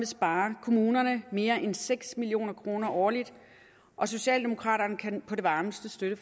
spare kommunerne mere end seks million kroner årligt og socialdemokraterne kan på det varmeste